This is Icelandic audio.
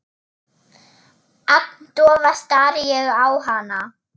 Agndofa stari ég á hana.